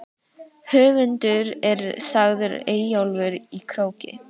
Höfundur er sagður Eyjólfur í Króki.